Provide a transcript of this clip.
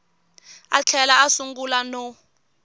a tlhela a sungula no